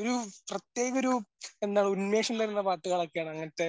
ഒരു പ്രേത്യേകൊരു എന്ന ഉന്മേഷം തരുന്ന പാട്ടുകളൊക്കെയാണ് അങ്ങനത്തെ